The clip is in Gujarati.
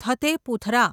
થતે પુથરા